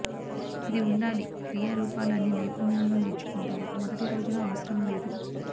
ఇది ఉండాలి క్రియా రూపాలు అన్ని నైపుణ్యాలను నేర్చుకుంటారు మొదటి రోజున అవసరం లేదు